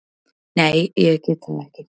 Nei, ég get það ekki.